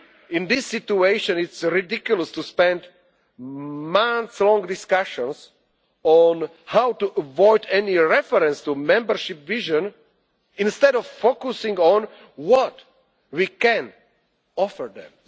Eastern Neighbourhood. In this situation it is ridiculous to spend months in discussions on how to avoid any reference to a membership vision, instead of focusing on what